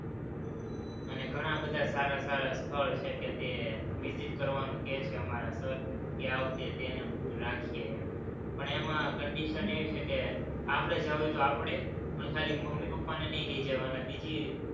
અને ઘણા બધા સારા સારા સ્થળ છે કે તે visit કરવાનું કહે છે અમારા sir કે આ વખતે તેનો tour રાખીએ એમ, પણ એમાં condition એવી છે કે આપણે જાવું હોય તો આપણે, પણ ખાલી મમ્મી પપ્પાને નહિ લઇ જવાના, બીજી